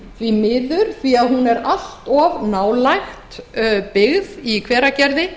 því miður því að hún er allt of nálægt byggð í hveragerði